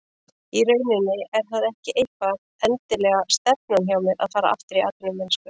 Í rauninni er það ekki eitthvað endilega stefnan hjá mér að fara aftur í atvinnumennsku.